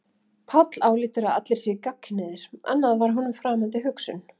Páll álítur að allir séu gagnkynhneigðir, annað var honum framandi hugsun.